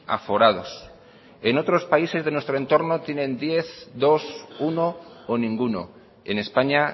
aforados en otros países de nuestro entorno tienen diez dos uno o ninguno en españa